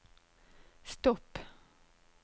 stopp